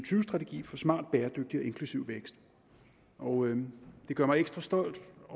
strategi for smart bæredygtig og inklusiv vækst og det gør mig ekstra stolt